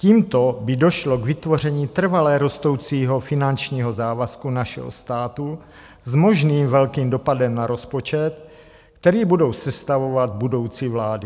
Tímto by došlo k vytvoření trvale rostoucího finančního závazku našeho státu s možným velkým dopadem na rozpočet, který budou sestavovat budoucí vlády.